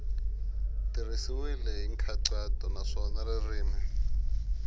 tirhisiwile hi nkhaqato naswona ririmi